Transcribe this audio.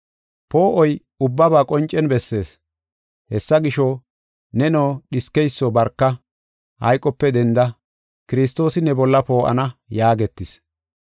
Poo7oy ubbaba qoncen bessees. Hessa gisho, “Neno dhiskeyso barka; hayqope denda; Kiristoosi ne bolla poo7ana” yaagetis.